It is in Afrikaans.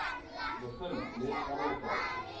begin net anderkant